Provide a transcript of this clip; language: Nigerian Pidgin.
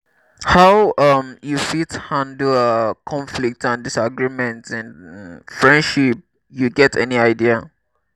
how um you fit handle um conflicts and disagreement in um friendship you get any idea?